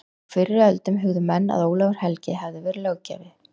Á fyrri öldum hugðu menn að Ólafur helgi hefði verið löggjafi